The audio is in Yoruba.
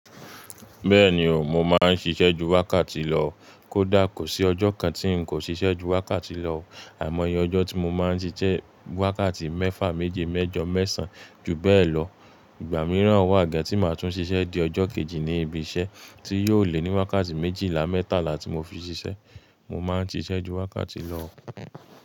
Bẹ́ẹ̀ni o, mo máa ń ṣiṣẹ́ ju wákàtí lọ. Kódà kò sí ọjọ́ kan tí n kò ṣiṣẹ́ ju wákàtí lọ, àìmọye ọjọ́ tí mo máa ń ṣiṣẹ́ wákàtí mẹ́fà, méje, mẹ́jọ, mẹ́sàn-án ju bẹ́ẹ̀ lọ. Ìgbà mìíràn wà gan tí má tún ṣiṣẹ́ di ọjọ́ kejì ní ibiṣẹ́ tí yóò lé ní wákàtí méjìlá, mẹ́tàlá tí mo fi ṣiṣẹ́. Mo máa ń ṣiṣẹ́ ju wákàtí lọ.